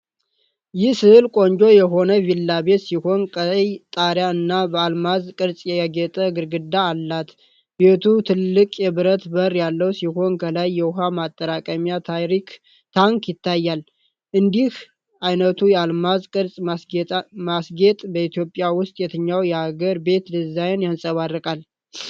ይህ ሥዕል ቆንጆ የሆነ ቪላ ቤት ሲሆን፣ ቀይ ጣሪያ እና በአልማዝ ቅርጽ ያጌጠ ግድግዳ አላት። ቤቱ ትልቅ የብረት በር ያለው ሲሆን፣ ከላይ የውሃ ማጠራቀሚያ ታንክ ይታያል። እንዲህ ዓይነቱ የአልማዝ ቅርጽ ማስጌጥ በኢትዮጵያ ውስጥ የትኛውን የአገር ቤት ዲዛይን ያንጸባርቃል?